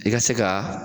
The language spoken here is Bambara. I ka se ka